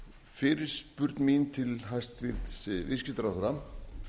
fyrirspurn mín til hæstvirtur viðskiptaráðherra